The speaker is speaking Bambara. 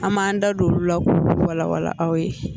An b'an da don olu la k'olu walawala